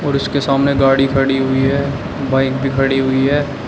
और इसके सामने गाड़ी खड़ी हुई है बाइक भी खड़ी हुई है।